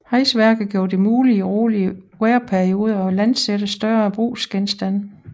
Hejseværket gjorde det muligt i rolige vejrperioder at landsætte større brugsgenstande